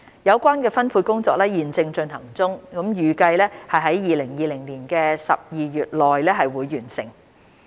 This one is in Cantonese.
有關分配工作正在進行中，預計在2020年12月內完成。